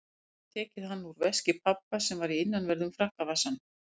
Hún hafði tekið hann úr veski pabba sem var í innanverðum frakkavasanum.